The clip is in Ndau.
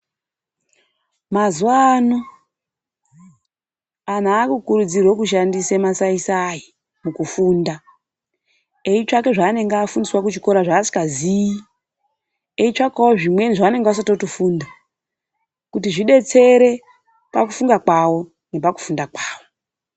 Mazuva ano andu akukurudzirwa kushandisa masaisai mukufunda eitsvaka zvaanenge afundiswa kuchikora zvasingazivi eitsvakawo zvimweni zvavanenge vasati vatofunda kuti zvidetsere pakufunga kwavo nepakufunda kwavo .